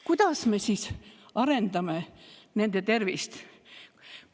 Kuidas me siis arendame nende tervist?